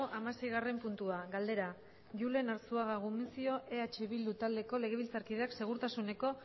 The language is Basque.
hamaseigarren puntua galdera julen arzuaga gumuzio eh bildu taldeko legebiltzarkideak segurtasuneko